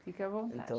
Fica à vontade. Então